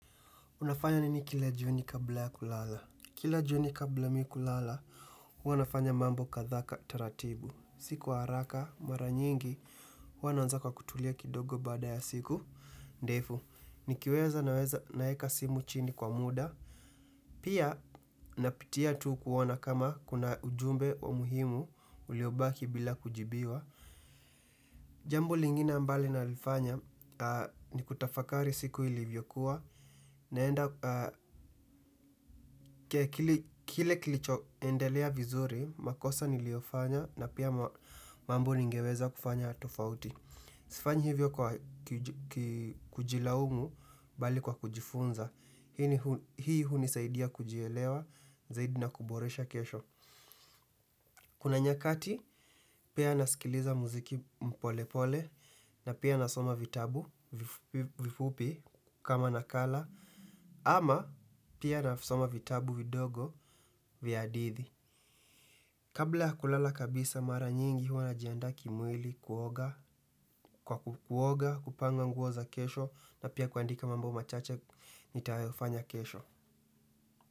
Unafanya nini kila jioni kabla ya kulala. Kila jioni kabla mi kulala, huwa nafanya mambo kadha taratibu. Si kwa haraka, mara nyingi, huwa na anza kwa kutulia kidogo baada ya siku. Ndefu, nikiweza naweza naeka simu chini kwa muda. Pia, napitia tu kuona kama kuna ujumbe wa muhimu uliobaki bila kujibiwa. Jambo lingine mbalo nalifanya ni kutafakari siku ilivyokuwa. Naenda, kile kilichoendelea vizuri, makosa niliyofanya na pia mambo ningeweza kufanya tofauti. Sifanyi hivyo kujilaumu bali kwa kujifunza. Hii hunisaidia kujielewa, zaidi na kuboresha kesho. Kuna nyakati, pia nasikiliza muziki polepole na pia nasoma vitabu vifupi kama nakala. Ama pia navisoma vitabu vidogo vya hadithi. Kabla kulala kabisa mara nyingi huwa najiandaa kimwili kuoga kupanga nguo za kesho na pia kuandika mambo machache nitayofanya kesho.